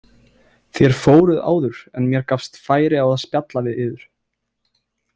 Þér fóruð áður en mér gafst færi á að spjalla við yður